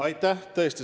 Aitäh!